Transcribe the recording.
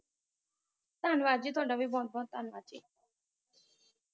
ਧੰਨਵਾਦ ਜੀ ਤੁਹਾਡਾ ਵੀ ਬੋਹੋਤ ਬੋਹੋਤ ਧੰਨਵਾਦ ਜੀ